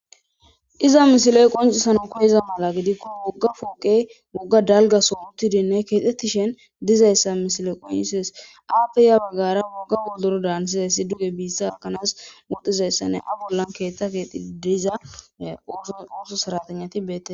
iza misiley qoncisanawu koyiza mala gidikkon wogga fooqe wogga dalggaso uttiidinne keexettishin dizayssa misile qoncisees aappe ya baggara wogga wodorodan haanizayssi duge biissa gakkanas wodizayssanne abollan keettha kexidii de'iza ooso seratenati beettetes